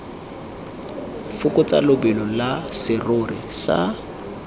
fokotsa lebelo la serori sa